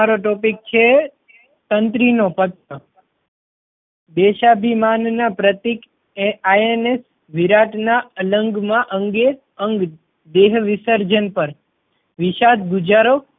મારો ટોપિક છે સંત્રી નો દેશાધીમાન ના પ્રતિક એ INS વિરાટ ના અલંગ માં અંગે અંગ દેહ વિસર્જન પર વિસાદ ગુજારો